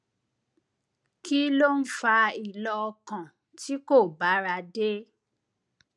kí ló ń fa ìlọ ọkàn tí kò bára dé